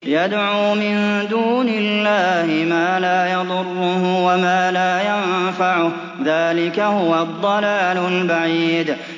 يَدْعُو مِن دُونِ اللَّهِ مَا لَا يَضُرُّهُ وَمَا لَا يَنفَعُهُ ۚ ذَٰلِكَ هُوَ الضَّلَالُ الْبَعِيدُ